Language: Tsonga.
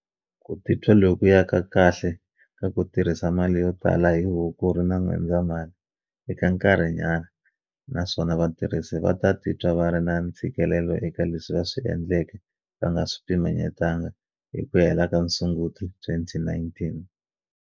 Ku titwa lokuya ka kahle ka ku tirhisa mali yo tala hi Hukuri na N'wendzamhala i ka nkarhinyana naswona vatirhisi va ta titwa va ri na ntshikelelo eka leswi va swi endleke va nga swi pimanyetalangi hi ku hela ka Sunguti 2019.